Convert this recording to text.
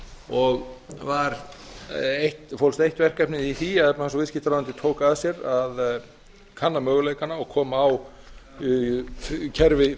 og fólst eitt verkefnið í því að efnahags og viðskiptaráðuneytið tók að sér að kanna möguleikana og koma á kerfi